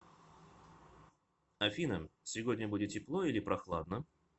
афина сегодня будет тепло или прохладно